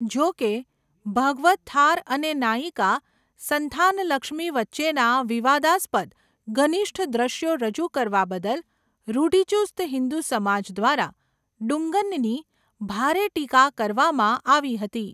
જો કે, ભાગવતથાર અને નાયિકા સંથાનલક્ષ્મી વચ્ચેના વિવાદાસ્પદ ઘનિષ્ઠ દ્રશ્યો રજૂ કરવા બદલ રૂઢિચુસ્ત હિન્દુ સમાજ દ્વારા 'ડુંગન'ની ભારે ટીકા કરવામાં આવી હતી.